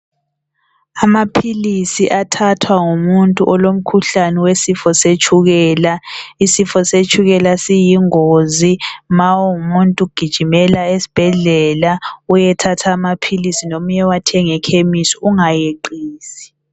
Amaphilisi athathwa ngumuntu olomkhuhlane wesifo setshukela, isifo setshukela siyingozi ma ungumuntu gijimela esbhedlela uyethatha amaphilisi nomuye wathenga ekhemisi ungayeqisi.